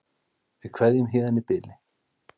Við kveðjum héðan í bili.